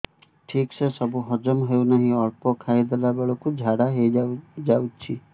ଠିକସେ ସବୁ ହଜମ ହଉନାହିଁ ଅଳ୍ପ ଖାଇ ଦେଲା ବେଳ କୁ ଝାଡା ହେଇଯାଉଛି